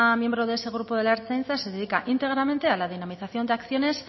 miembro de ese grupo de la ertzaintza se dedica íntegramente a la dinamización de acciones